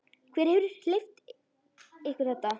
Hver hefur leyft ykkur þetta?